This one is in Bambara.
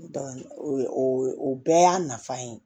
o bɛɛ y'a nafa ye